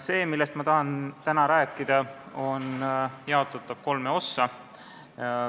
See, millest ma tahan täna rääkida, on jaotatav kolme ossa.